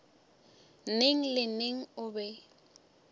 neng le neng o be